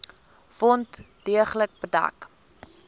wond deeglik bedek